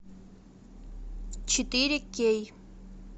четыре кей